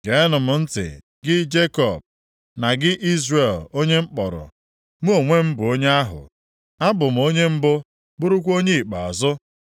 “Geenụ m ntị, gị Jekọb, na gị Izrel onye m kpọrọ. Mụ onwe m bụ onye ahụ; Abụ m onye mbụ, bụrụkwa onye ikpeazụ.